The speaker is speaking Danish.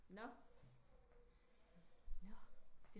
Nå Nå